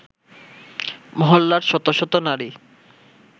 মহল্লার শত শত নারী